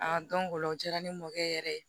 o la o diyara ne mɔkɛ yɛrɛ ye